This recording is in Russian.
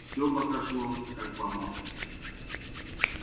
всё пока шло как по маслу